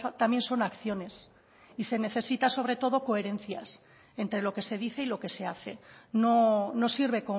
también son acciones y se necesita sobre todo coherencias entre lo que se dice y lo que se hace no sirve